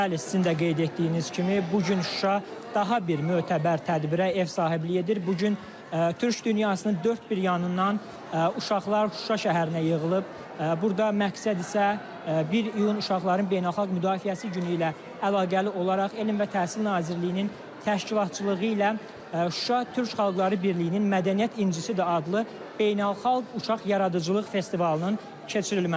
Bəli, sizin də qeyd etdiyiniz kimi, bu gün Şuşa daha bir mötəbər tədbirə ev sahibliyi edir, bu gün Türk dünyasının dörd bir yanından uşaqlar Şuşa şəhərinə yığılıb, burda məqsəd isə 1 iyun uşaqların beynəlxalq müdafiəsi günü ilə əlaqəli olaraq Elm və Təhsil Nazirliyinin təşkilatçılığı ilə Şuşa Türk Xalqları Birliyinin Mədəniyyət İncisi də adlı beynəlxalq uşaq yaradıcılıq festivalının keçirilməsidir.